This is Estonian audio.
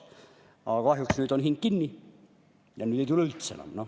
Aga kahjuks nüüd on hing kinni ja nüüd ei tule üldse enam.